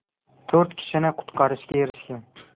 To‘rt kishini qutqarishga erishishgan.